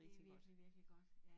Det vikelig virkelig godt